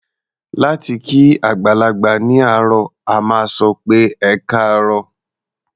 Láti kí àgbàlagbà ní àárọ̀, a máa sọ pé "ẹkáàárọ̀".